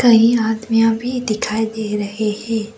कई आदमियाँ भी दिखाई दे रहे हैं।